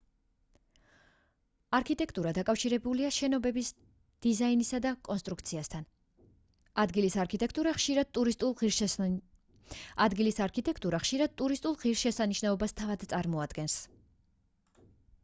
არქიტექტურა დაკავშირებულია შენობების დიზაინსა და კონტრუქციასთან ადგილის არქიტექტურა ხშირად ტურისტულ ღირსშესანიშნაობას თავად წარმოადგენს